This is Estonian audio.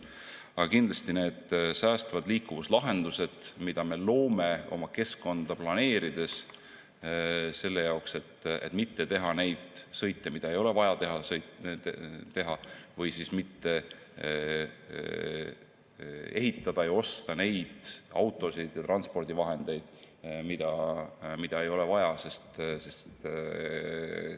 Aga kindlasti ka need säästvad liikumislahendused, mida me loome oma keskkonda planeerides selle jaoks, et mitte teha neid sõite, mida ei ole vaja teha, või mitte toota ja osta neid autosid ja transpordivahendeid, mida ei ole vaja.